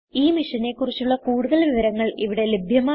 ഈ മിഷനെ കുറിച്ചുള്ള കുടുതൽ വിവരങ്ങൾ ഇവിടെ ലഭ്യമാണ്